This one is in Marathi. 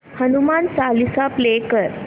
हनुमान चालीसा प्ले कर